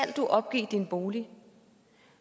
du opgive din bolig